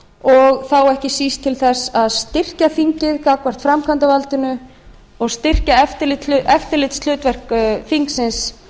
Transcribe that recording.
og þá ekki síst til þess að styrkja þingið gagnvart framkvæmdarvaldinu og styrkja eftirlitshlutverk þingsins